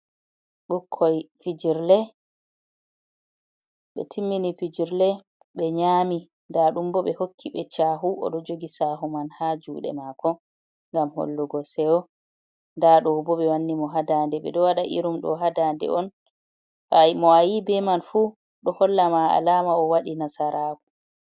"Ɓikkoi fijirle" be timmini fijirle be nyami nɗa ɗum bo ɓe hokki be chahu oɗo jogi sahu man ha juɗe mako ngam hollugo sewo dado bo be wanni mo hadande ɓeɗo wada irum ɗo ha dande on mo ayi be man fu ɗo holla ma alama o waɗi nasara ku.